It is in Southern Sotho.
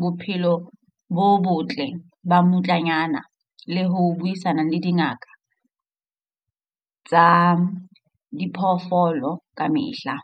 bophelo bo botle ba mmutlanyana le ho buisana le dingaka tsa diphoofolo kamehla.